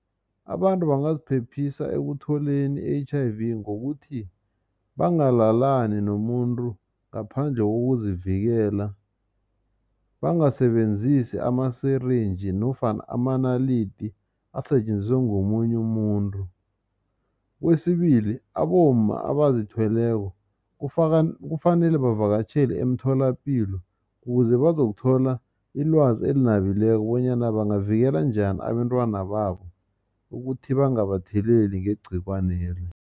Abantu bangaziphephisa ekutholeni i-H_I_V ngokuthi bangalalani nomuntu ngaphandle kokuzivikela bangasebenzisi ama-syringe nofana amanaladi asetjenziswe ngomunye umuntu. Kwesibili abomma abazithweleko kufanele bavakatjhele emtholapilo ukuze bazokuthola ilwazi elinabileko bonyana bangavikela njani abentwana babo ukuthi bangabatheleli ngegcikwane leli.